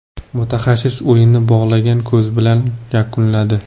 Mutaxassis o‘yinni bog‘langan ko‘z bilan yakunladi.